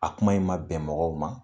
A kuma in ma bɛn mɔgɔw ma.